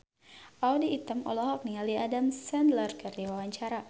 Audy Item olohok ningali Adam Sandler keur diwawancara